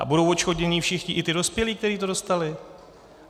A budou odškodnění všichni, i ti dospělí, kteří to dostali.